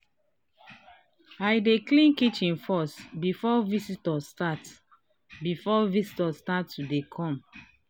i dey clean kitchen first before visitor start before visitor start to dey come.